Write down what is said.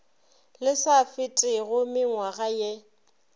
le sa fetego mengwaga ye